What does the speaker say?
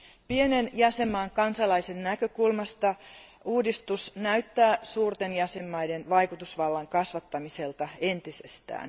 Pienen jäsenvaltion kansalaisen näkökulmasta uudistus näyttää suurten jäsenvaltioiden vaikutusvallan kasvattamiselta entisestään.